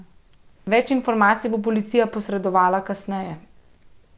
Več informacij bo policija posredovala kasneje.